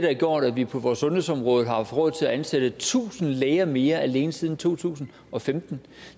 har gjort at vi på vores sundhedsområde har haft råd til at ansætte tusind læger mere alene siden to tusind og femten